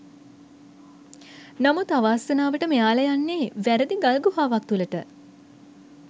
නමුත් අවාසනාවට මෙයාල යන්නේ වැරදි ගල් ගුහාවක් තුලට.